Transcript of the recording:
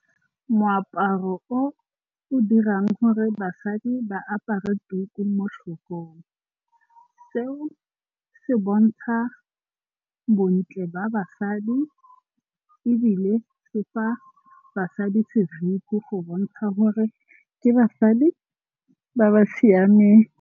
Moaparo o o dirang gore basadi ba apare tuku mo tlhogong. Seo se bontsha bontle ba basadi ebile se fa basadi seriti go bontsha gore ke basadi ba ba siameng.